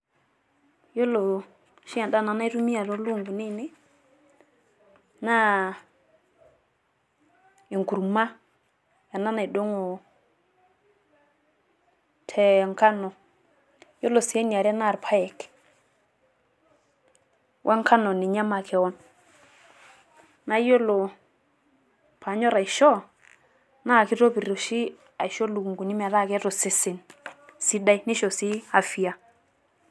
iyiolo oshi edaa naitumia nanu too ropiyiani aainei naa enkurma ena naidongo te nkano, we nkano ninye makewon, iyiolo pee anyor aishoo naa kitopir oshi ilukunkuni metaa keeta osesen sidai, neisho sii afia.